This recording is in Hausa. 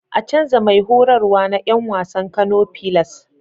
A canza Mai horarwa na Yan wasan Kano pilars